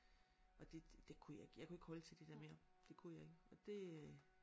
Og det det kunne jeg ikke jeg kunne ikke holde til det der mere det kunne jeg ikke og det